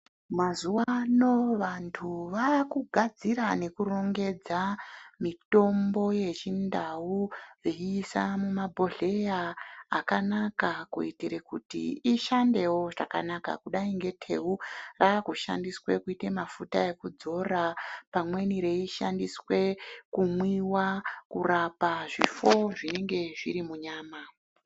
Mazuwa ano vantu vaakugadzira nekurongedza mitombo yechindau veise mumabhohleya akanaka kuitire kuti ishandewo zvakanaka kudai ngeteu rakushandiswe kuite mafuta ekudzora, pamweni reishandiswe kumwiwa, kurapa zvifo zvinenge zviri munyama.